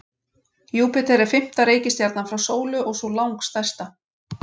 Júpíter er fimmta reikistjarnan frá sólu og sú langstærsta.